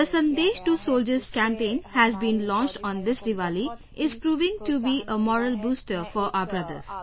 The "Sandesh to Soldiers" campaign has been launched on this Deepawali and is proving to be a morale booster for our brothers